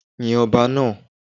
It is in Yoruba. Yin ọba náà.